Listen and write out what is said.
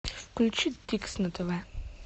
включи дикс на тв